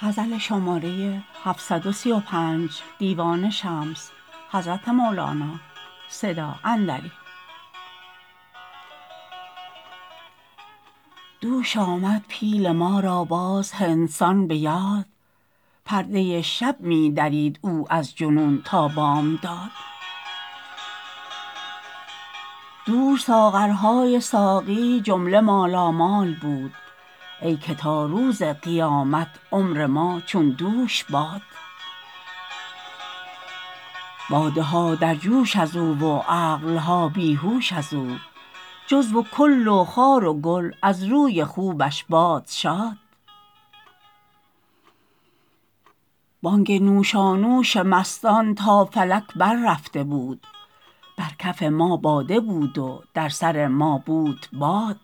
دوش آمد پیل ما را باز هندستان به یاد پرده شب می درید او از جنون تا بامداد دوش ساغرهای ساقی جمله مالامال بود ای که تا روز قیامت عمر ما چون دوش باد باده ها در جوش از او و عقل ها بی هوش از او جزو و کل و خار و گل از روی خوبش باد شاد بانگ نوشانوش مستان تا فلک بررفته بود بر کف ما باده بود و در سر ما بود باد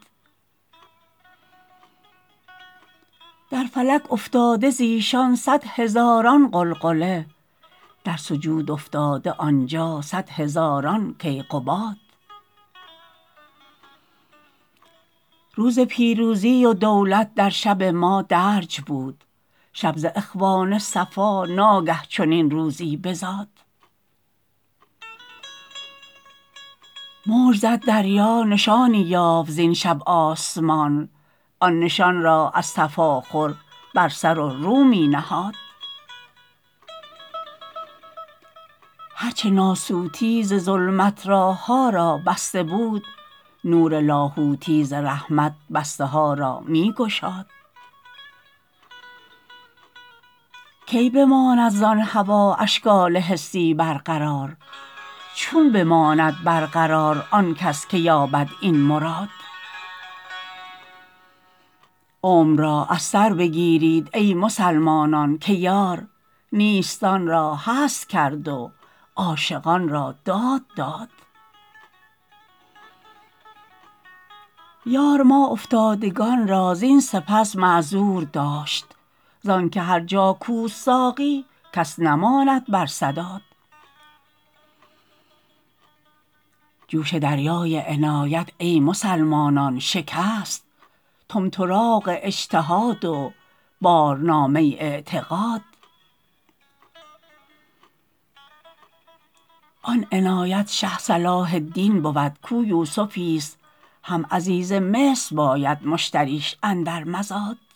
در فلک افتاده ز ایشان صد هزاران غلغله در سجود افتاده آن جا صد هزاران کیقباد روز پیروزی و دولت در شب ما درج بود شب ز اخوان صفا ناگه چنین روزی بزاد موج زد دریا نشانی یافت زین شب آسمان آن نشان را از تفاخر بر سر و رو می نهاد هر چه ناسوتی ز ظلمت راه ها را بسته بود نور لاهوتی ز رحمت بسته ها را می گشاد کی بماند زان هوا اشکال حسی برقرار چون بماند برقرار آن کس که یابد این مراد عمر را از سر بگیرید ای مسلمانان که یار نیستان را هست کرد و عاشقان را داد داد یار ما افتادگان را زین سپس معذور داشت زان که هر جا کوست ساقی کس نماند بر سداد جوش دریای عنایت ای مسلمانان شکست طمطراق اجتهاد و بارنامه اعتقاد آن عنایت شه صلاح الدین بود کو یوسفیست هم عزیز مصر باید مشتریش اندر مزاد